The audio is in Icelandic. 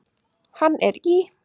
Hann er í